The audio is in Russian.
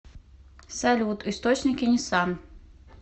салют источники нисан